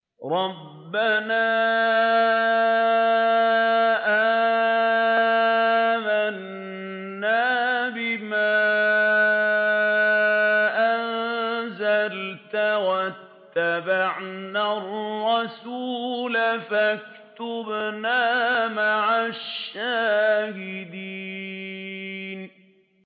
رَبَّنَا آمَنَّا بِمَا أَنزَلْتَ وَاتَّبَعْنَا الرَّسُولَ فَاكْتُبْنَا مَعَ الشَّاهِدِينَ